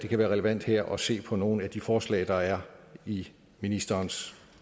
kan være relevant her at se på nogle af de forslag der er i ministerens